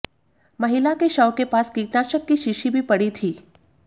महिला के शव के पास कीटनाशक की शीशी भी पड़ी थी